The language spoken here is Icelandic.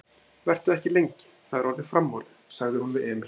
Vertu ekki lengi, það er orðið framorðið, sagði hún við Emil.